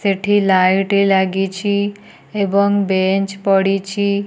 ଏଠି ଲାଇଟ୍ ଲାଗିଛି ଏବଂ ବେଞ୍ଚ ପଡ଼ିଛି।